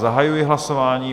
Zahajuji hlasování.